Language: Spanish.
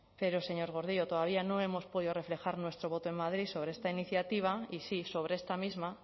pero señor gordillo todavía no hemos podido reflejar nuestro voto en madrid sobre esta iniciativa y sí sobre esta misma